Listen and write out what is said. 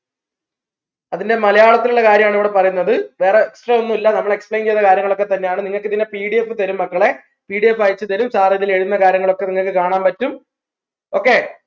അതിൻറെ മലയാളത്തിലുള്ള കാര്യാണ് ഇവിടെ പറയുന്നത് വേറെ ഒന്നുമില്ല നമ്മൾ explain ചെയ്ത കാര്യങ്ങൾ ഒക്കെ തന്നെയാണ് നിങ്ങക്ക് ഇതിൻറെ PDF തരും മക്കളെ PDF അയച് തരും sir ഇതിൽ എഴുതുന്ന കാര്യങ്ങളൊക്കെ നിങ്ങൾക്ക് കാണാൻ പറ്റും okay